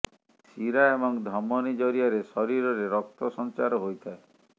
ଶିରା ଏବଂ ଧମନୀ ଜରିଆରେ ଶରୀରରେ ରକ୍ତ ସଞ୍ଚାର ହୋଇଥାଏ